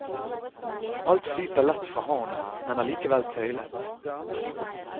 Alt flyter lett fra hånden, men allikevel tøylet.